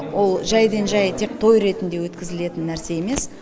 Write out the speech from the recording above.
ол жайдан жай тек той ретінде өткізілетін нәрсе емес